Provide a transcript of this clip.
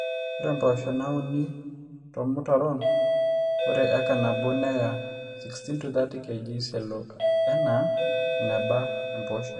ore mpoosho nauni tormutaron ore acre nabo neya 16-30kg elo enaa eneba empooshoi